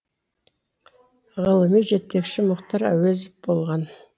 ғылыми жетекшісі мұхтар әуезов болған